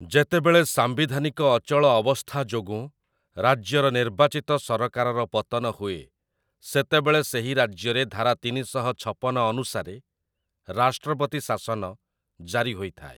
ଯେତେବେଳେ ସାମ୍ବିଧାନିକ ଅଚଳ ଅବସ୍ଥା ଯୋଗୁଁ ରାଜ୍ୟର ନିର୍ବାଚିତ ସରକାରର ପତନ ହୁଏ, ସେତେବେଳେ ସେହି ରାଜ୍ୟରେ ଧାରା ତିନିଶହ ଛପନ ଅନୁସାରେ ରାଷ୍ଟ୍ରପତି ଶାସନ ଜାରି ହୋଇଥାଏ ।